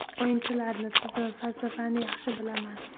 O‘yinchilarni, tizim, falsafani yaxshi bilaman.